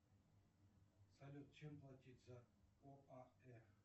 салют чем платить за оаэ